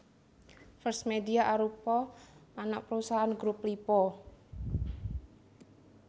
First Media arupa anak perusahaan Grup Lippo